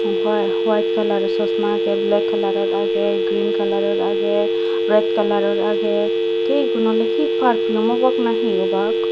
whai white kaalar sosma agey black kaalar or agey green kaalor or agey red kaalar or agey tey igun he oley he perfume obak na he obak.